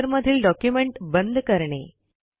रायटरमधील document बंद करणे